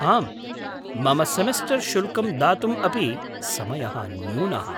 आम्, मम सेमेस्टर् शुल्कं दातुम् अपि समयः न्यूनः।